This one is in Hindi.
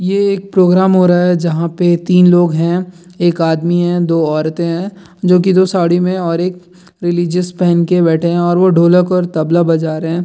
ये एक प्रोग्राम हो रहा है जहां पे तीन लोग हैं एक आदमी है दो औरते हैं जो कि दो साड़ी में है और एक रिलिजिय्स पहन कर बैठे हैं और वो ढोलक और तबला बजा रहे हैं।